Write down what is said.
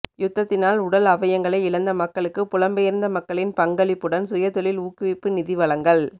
யுத்தத்தினால் உடல் அவயங்களை இழந்த மக்களுக்கு புலம்பெயர்ந்த மக்களின் பங்களிப்புடன் சுயதொழில் ஊக்குவிப்பு நிதி வழங்கல்